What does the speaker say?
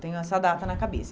Tenho essa data na cabeça.